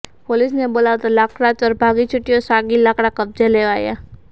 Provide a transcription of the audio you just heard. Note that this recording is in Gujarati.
પોલીસને બોલાવતા લાકડાચોર ભાગી છૂટ્યો ઃ સાગી લાકડાં કબજે લેવાયાં